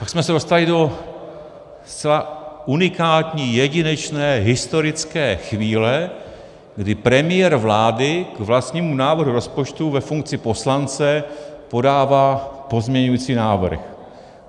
Tak jsme se dostali do zcela unikátní, jedinečné historické chvíle, kdy premiér vlády k vlastnímu návrhu rozpočtu ve funkci poslance podává pozměňující návrh.